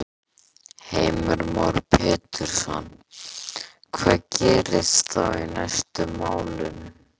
Heimir Már Pétursson: Hvað gerist þá næst í málinu?